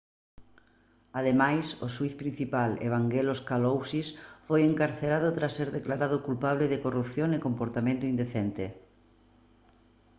ademais o xuíz principal evangelos kalousis foi encarcerado tras ser declarado culpable de corrupción e comportamento indecente